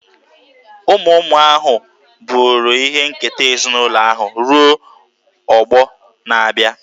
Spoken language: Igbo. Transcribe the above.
Ụmụ ụmụ ahụ buru ihe nketa ezinụlọ ahụ ruo ọgbọ na-abịa.